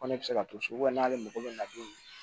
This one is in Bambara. Ko ne bɛ se ka to so n'ale mago bɛ na don min na